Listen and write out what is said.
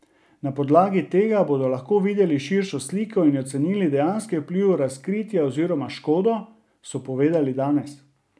Na podlagi tega bodo lahko videli širšo sliko in ocenili dejanski vpliv razkritja oziroma škodo, so povedali danes.